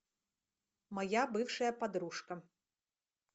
моя бывшая подружка